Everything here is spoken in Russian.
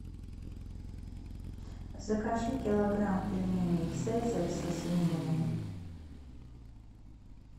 закажи килограмм пельменей цезарь со свининой